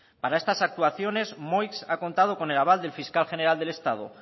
para estas actuaciones moix ha contado con el aval del fiscal general del estado